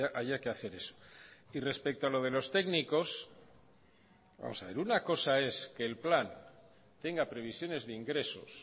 haya que hacer eso y respecto a lo de los técnicos vamos a ver una cosa es que el plan tenga previsiones de ingresos